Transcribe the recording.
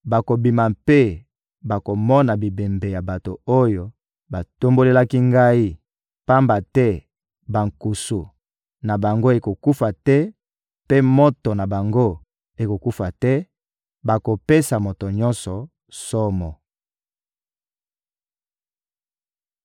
«bakobima mpe bakomona bibembe ya bato oyo batombokelaki Ngai, pamba te bankusu na bango ekokufa te mpe moto na bango ekokufa te; bakopesa moto nyonso somo.»